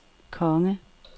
konge